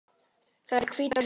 Það eru hvítar hurðir.